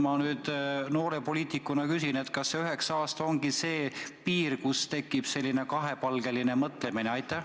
Ma nüüd noore poliitikuna küsin, kas üheksa aastat ongi see piir, millest alates tekib selline kahepalgeline mõtlemine?